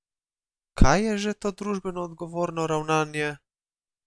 Kaj je že to družbeno odgovorno ravnanje?